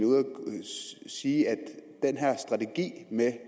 sige at den her strategi med